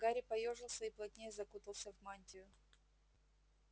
гарри поёжился и плотнее закутался в мантию